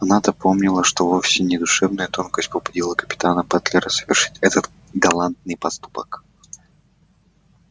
она-то помнила что вовсе не душевная тонкость побудила капитана батлера совершить этот галантный поступок